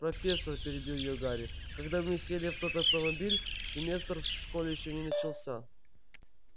профессор перебил её гарри когда мы сели в тот автомобиль семестр в школе ещё не начался